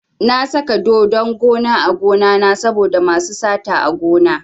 Na saka dodon gona a gonana saboda masu sata a gona.